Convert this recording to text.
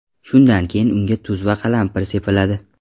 Shundan keyin unga tuz va qalampir sepiladi.